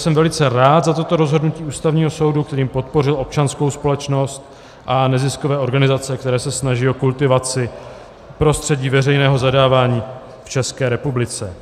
Jsem velice rád za toto rozhodnutí Ústavního soudu, kterým podpořil občanskou společnost a neziskové organizace, které se snaží o kultivaci prostředí veřejného zadávání v České republice.